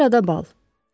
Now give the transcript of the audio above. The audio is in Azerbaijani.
Operada bal.